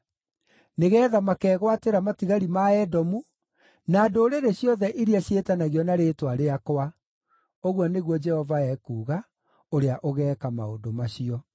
nĩgeetha makegwatĩra matigari ma Edomu, na ndũrĩrĩ ciothe iria ciĩtanagio na rĩĩtwa rĩakwa,” ũguo nĩguo Jehova ekuuga, ũrĩa ũgeeka maũndũ macio.